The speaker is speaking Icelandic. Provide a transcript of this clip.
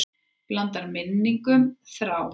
Blandar minningum þrá.